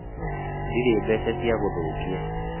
Ndirĩ mbeca cia gũthũkia